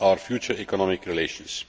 our future economic relations.